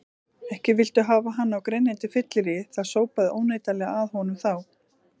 Ekki viltu hafa hann á grenjandi fylleríi, það sópaði óneitanlega að honum þá.